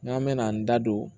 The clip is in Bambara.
N'an mɛna n da don